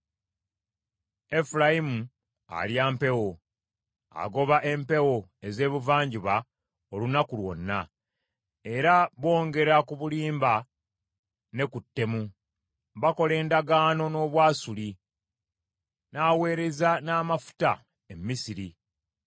Efulayimu alya mpewo; agoba empewo ez’ebuvanjuba olunaku lwonna, era bongera ku bulimba ne ku ttemu. Bakola endagaano n’Obwasuli, n’aweereza n’amafuta e Misiri.